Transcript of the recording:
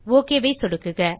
okay click செய்க